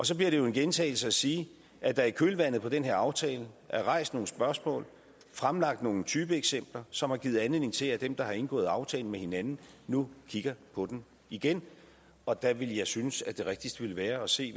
så bliver det jo en gentagelse at sige at der i kølvandet på den her aftale er rejst nogle spørgsmål og fremlagt nogle typeeksempler som har givet anledning til at dem der har indgået aftalen med hinanden nu kigger på den igen og der vil jeg synes at det rigtigste vil være at se